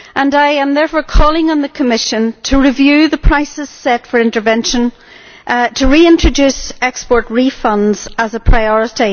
I am therefore calling on the Commission to review the prices set for intervention and to reintroduce export refunds as a priority.